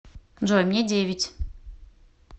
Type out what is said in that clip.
джой мне девять